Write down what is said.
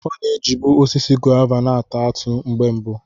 Ọ na-ejibu osisi gová na-ata atụ mgbe mbụ.